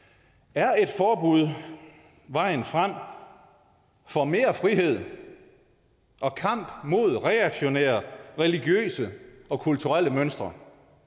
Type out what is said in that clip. er et forbud vejen frem for mere frihed og kamp mod reaktionære religiøse og kulturelle mønstre